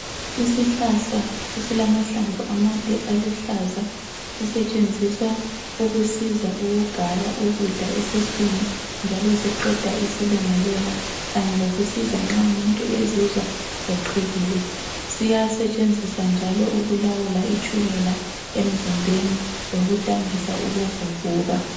Isihlahla esilamahlamvu amade aluhlaza sisetshenziswa ukusiza ukugaya ukudla esiswini njalo siqeda isilungulela kanye lokusiza nxa umuntu ezizwa eqhekile .Siyasetshenziswa njalo ukulawula itshukela emzimbeni lokudambisa ukuvuvuka